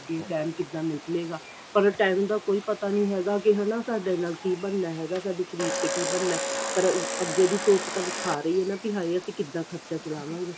ਕਿ ਟੈਂਮ ਕਿੱਦਾਂ ਨਿਕਲੇਗਾ or ਟੈਂਮ ਦਾ ਕੋਈ ਪਤਾ ਨਹੀਂ ਹੈਗਾ ਕੀ ਹਨਾ ਸਾਡੇ ਨਾਲ ਕੀ ਬਣਨਾ ਹੈਗਾ ਸਾਡੇ ਸ਼ਰੀਰ ਤੇ ਕੀ ਬਣਨਾ ਪਰ ਅੱਗੇ ਦੀ ਸੋਚ ਤਾਂ ਵਿਖਾ ਰਹੀ ਏ ਵੀ ਅਸੀਂ ਕਿਦਾਂ ਖਰਚਾ ਚਲਾਵਾਂਗੇ